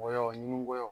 Wa ɲinikoya